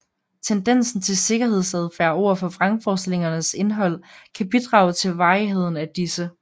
Tendensen til sikkerhedsadfærd overfor vrangforestillingernes indhold kan bidrage til varigheden af disse